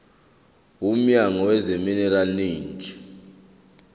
womnyango wezamaminerali neeneji